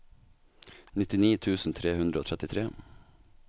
nittini tusen tre hundre og trettitre